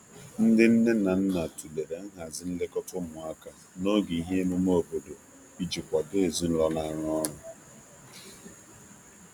Ndị nne na nna tụlere nhazi nlekọta ụmụaka n'oge ihe emume obodo iji kwado ezinụlọ na arụ ọrụ.